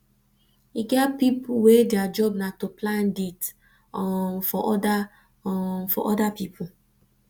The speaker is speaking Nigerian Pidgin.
e get pipu wey their job na to plan date um for other um for other pipu